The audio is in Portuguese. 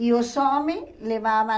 E os homens levavam...